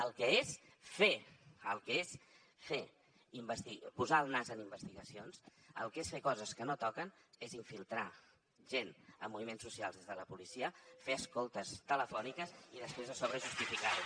el que és fer el que és posar el nas en investigacions el que és fer coses que no toquen és infiltrar gent en moviments socials des de la policia fer escoltes telefòniques i després a sobre justificar ho